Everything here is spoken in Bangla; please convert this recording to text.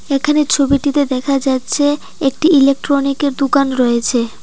এখানে ছবিটিতে দেখা যাচ্ছে একটি ইলেকট্রনিকের দুকান রয়েছে।